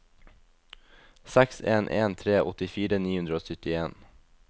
seks en en tre åttifire ni hundre og syttien